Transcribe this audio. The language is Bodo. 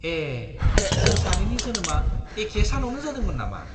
ए! जों सानैनि जोनोमआ एखे सानावनो जादोंमोन नामा!